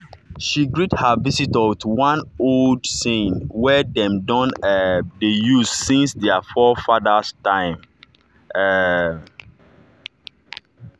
she greet her visitor with one old saying wey dem don um dey use since their forefathers time. um